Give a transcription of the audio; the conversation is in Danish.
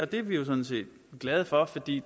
det er vi jo sådan set glade for fordi